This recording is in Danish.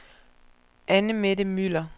Anne-Mette Müller